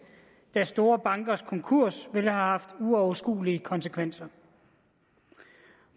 da store bankers konkurs ville have haft uoverskuelige konsekvenser